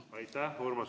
Aitäh!